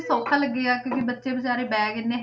ਸੌਖਾ ਲੱਗਿਆ ਕਿਉਂਕਿ ਬੱਚੇ ਬੇਚਾਰੇ bag ਇੰਨੇ